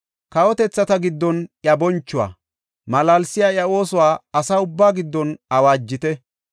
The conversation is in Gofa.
Kawotethata giddon iya bonchuwa, malaalsiya iya oosuwa asa ubbaa giddon awaajite.